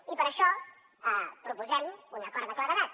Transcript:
i per això proposem un acord de claredat